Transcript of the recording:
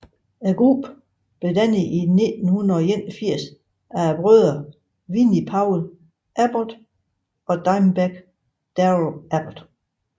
Gruppen blev dannet i 1981 af brødrene Vinnie Paul Abbott og Dimebag Darrell Abbott